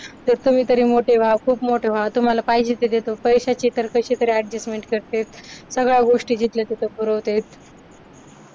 तर तुम्ही तरी मोठे व्हा खूप मोठे व्हा तुम्हाला पाहिजे ते देतो पैशाची कशीतरी adjustment करते सगळ्या गोष्टी जिथल्या तिथे पुरवते.